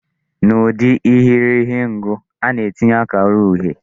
N'ide irighiri ngụ, a na-etinye akara uhie.